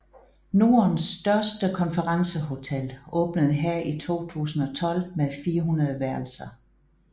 Nordens største konferencehotel åbnede her i 2012 med 400 værelser